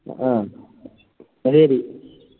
ആ എന്ന ശരി